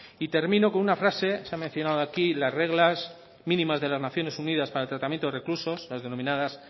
y termino con una frase se ha mencionado aquí las reglas mínimas de las naciones unidas para el tratamiento de reclusos las denominadas